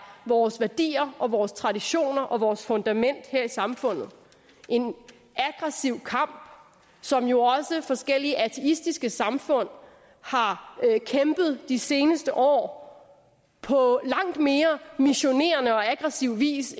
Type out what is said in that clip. vores værdier og vores traditioner og vores fundament her i samfundet en aggressiv kamp som jo også forskellige ateistiske samfund har kæmpet de seneste år på langt mere missionerende og aggressiv vis